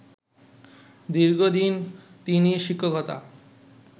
দীর্ঘদিন তিনি শিক্ষকতা